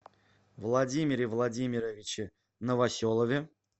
владимире владимировиче новоселове